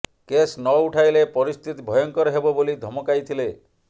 case ନ ଉଠାଇଲେ ପରସ୍ଥିତି ଭୟଙ୍କର ହେବ ବୋଲି ଧମକାଇଥିଲେ